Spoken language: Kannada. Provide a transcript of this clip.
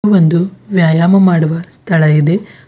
ಒಂದು ವ್ಯಾಯಾಮ ಮಾಡುವ ಸ್ಥಳ ಇದೆ.